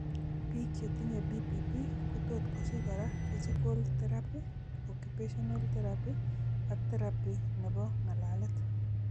Biik chetinye BPP kotot kosich koraa physical teraphy, occupational teraphy ak teraphy nebo ng'alalet